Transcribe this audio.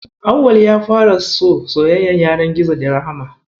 Auwal ya fara so soyayyar yanar gizo da Rahama.